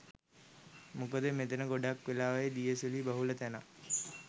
මොකද මෙතන ගොඩක් වෙලාවට දිය සුළි බහුල තැනක්.